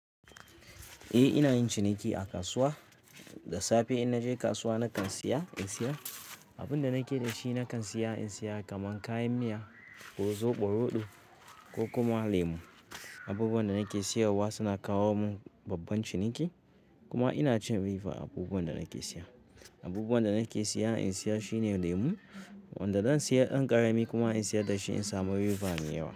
Eh, ina yin ciniki a kasuwa. Da safe in naje kasuwa nakan siya in siyar. Abunda nake da shi nakan siya in siyar kaman kayan miya, ko zobo, roɗo ko kuma lemu. Abubuwan da nake siyar wa suna kawo mun babban ciniki. Kuma ina cin riba a abubuwan da nake siya. Abubuwan da nake siya in siyar shine lemu, wanda zan siya ɗan ƙarami kuma in siyar da shi in samu riba mai yawa.